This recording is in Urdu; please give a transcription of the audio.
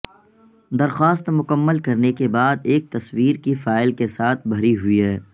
درخواست مکمل کرنے کے بعد ایک تصویر کی فائل کے ساتھ بھری ہوئی ہے